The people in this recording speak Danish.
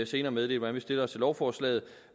senere meddele hvordan vi stiller os til lovforslaget